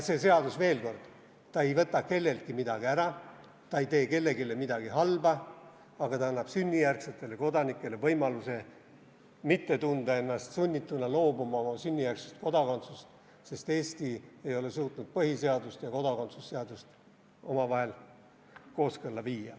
Veel kord, see seadus ei võta kelleltki midagi ära, see ei tee kellelegi midagi halba, aga see annab sünnijärgsetele kodanikele võimaluse mitte tunda ennast oma sünnijärgsest kodakondsusest loobuma sunnituna, sest Eesti ei ole suutnud põhiseadust ja kodakondsuse seadust omavahel kooskõlla viia.